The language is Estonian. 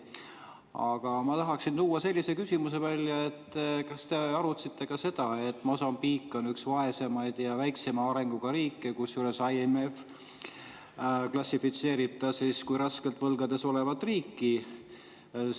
Aga ma tahaksin välja tuua sellise küsimuse, et kas te arutasite ka seda, et Mosambiik on üks vaesemaid ja väiksema arenguga riike, kusjuures IMF klassifitseerib teda kui raskelt võlgades olevat riiki.